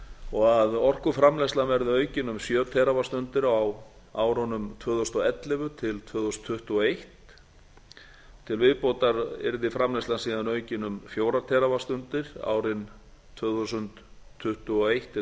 og að orkuframleiðslan verði aukin um sjö teravattstundir á árunum tvö þúsund og ellefu til tvö þúsund tuttugu og eitt til viðbótar yrði framleiðslan síðan aukin um fjögur teravattstundir árin tvö þúsund tuttugu og eitt til tvö